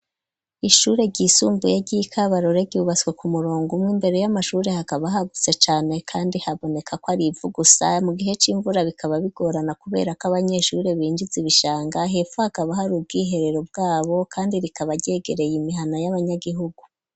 Ishure ry'isumbuye ryi Kabarore ryubatswe ku murongo umwe imbere y'amashuri hakaba hagutse cane kandi haboneka ko arivu gusa mu gihe c'imvura bikaba bigorana kubera ko abanyeshuri binjiza ibishanga hepfo hakaba hari ubwiherero bwabo kandi rikaba ryegereye imihana y'abanyagihugu